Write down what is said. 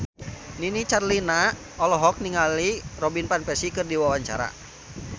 Nini Carlina olohok ningali Robin Van Persie keur diwawancara